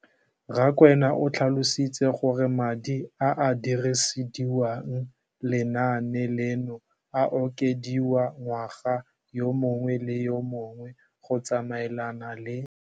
Rakwena o tlhalositse gore madi a a dirisediwang lenaane leno a okediwa ngwaga yo mongwe le yo mongwe go tsamaelana le